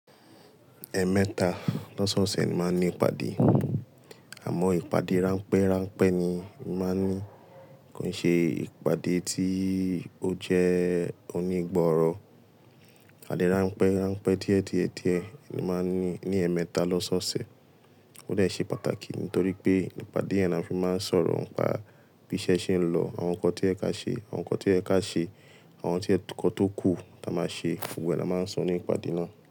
Ẹẹ̀mẹta lọ́sẹ̀ ọ̀sẹ̀ ni mo máa ń ní ìpàdé. Àmọ́ ìpàdé ránpẹ́ ránpẹ́ ni mo màá ń ní. Kò ń ṣe ìpàdé tí ó jẹ́ onígbọ̀ọ̀rọ̀. Ìpàdé ránpẹ́ ránpẹ́ díẹ̀ díẹ̀ díẹ̀ ni màá ń ní ní ẹ̀ẹ̀mẹta l'ọ́ṣẹ́ ọ̀sẹ̀. Ó dàá ṣe pàtàkì nítorí pé ìpàdé yẹn ni a fi máa ń sọ̀rọ̀ nípa bí iṣẹ́ ṣe ń lọ, àwọn nǹkan tí ó yẹ ká ṣe, àwọn nǹkan tí o yẹ ká ṣe, àwọn nǹkan tó kù tí a máa ṣe. Gbogbo ẹ̀ ni a máa ń sọ ní ìpàdé náà.